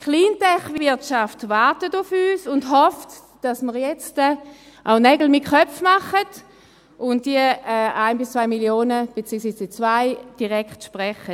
Die Cleantech-Wirtschaft wartet auf uns und hofft, dass wir jetzt auch Nägel mit Köpfen machen und diese 1 bis 2 Mio. Franken, respektive die 2 Mio. Franken, direkt sprechen.